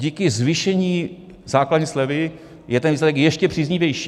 Díky zvýšení základní slevy je ten výsledek ještě příznivější.